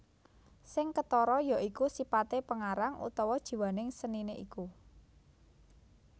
Sing ketara ya iku sipate pengarang utawa jiwaning senine iku